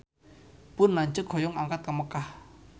Pun lanceuk hoyong angkat ka Mekkah